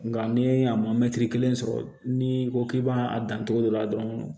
Nga ni a ma mɛtiri kelen sɔrɔ ni ko k'i b'a dan cogo dɔ la dɔrɔn